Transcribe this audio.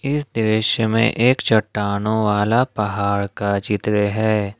इस दृश्य में एक चट्टानों वाला पहाड़ का चित्र है।